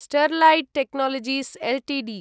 Sterlite Technologies Ltd